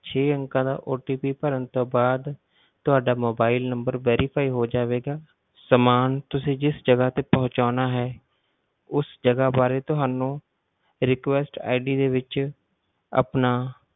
ਛੇ ਅੰਕਾਂ ਦਾ OTP ਭਰਨ ਤੋਂ ਬਾਅਦ ਤੁਹਾਡਾ mobile number verify ਹੋ ਜਾਵੇਗਾ, ਸਮਾਨ ਤੁਸੀਂ ਜਿਸ ਜਗਾ ਤੇ ਪਹੁੰਚਾਉਣਾ ਹੈ ਉਸ ਜਗਾ ਬਾਰੇ ਤੁਹਾਨੂੰ request ID ਦੇ ਵਿੱਚ ਆਪਣਾ